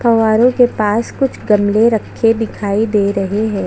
फौहारे के पास कुछ गमले रखे दिखाई दे रहे है।